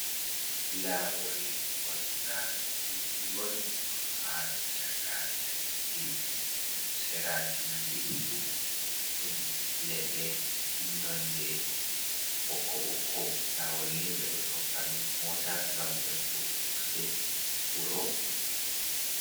Lawol kolta jutgol, ɗo ha chaka laddi, seraji man ɗiɗi fu ɗum leɗɗe nonde bokko bokko, lawol ni ɓe ɗo tokka be mota gam yahugo fattude, wuro.